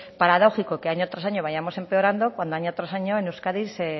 paradójico que año tras año vayamos empeorando cuando año tras año en euskadi se